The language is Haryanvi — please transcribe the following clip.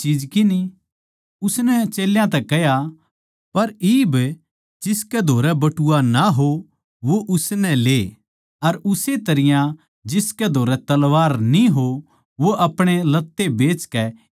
उसनै चेल्यां तै कह्या पर इब जिसकै धोरै बटुआ ना हो वो उसनै ले अर उस्से तरियां जिसकै धोरै तलवार न्ही हो तो वो अपणे लत्ते बेचकै एक मोल लेवै